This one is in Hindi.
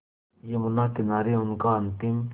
यमुना किनारे उनका अंतिम